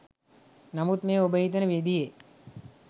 නමුත් මේ ඔබ හිතන විදියේ